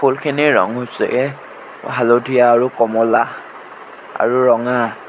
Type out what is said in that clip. ফুলখিনিৰ ৰং হৈছে হালধীয়া আৰু কমলা আৰু ৰঙা।